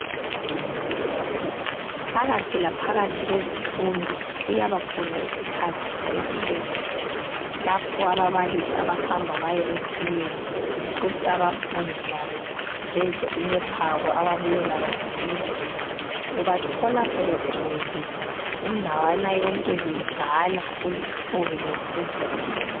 Phakathi la phakathi kwezifundo kuyaba khona isikhathi sekhefu lapho ababalisi abahamba baye etiyeni kuthi abafundi labo bedle imiphako ababuye layo ngakibo ubathola sebegcwele indawana yonke bedlala kuluthuli lothudlwana.